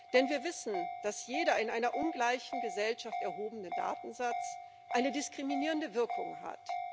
Denn wir wissen, dass jeder in einer ungleichen Gesellschaft erhobene Datensatz eine diskriminierende Wirkung hat.